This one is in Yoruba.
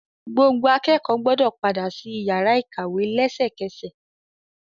Gbogbo akẹ́kọ̀ọ́ gbọ́dọ padà sí iyàrá ìkàwé lẹ́sẹkẹ́sẹ̀.!